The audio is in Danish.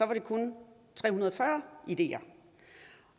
det kun tre hundrede og fyrre ideer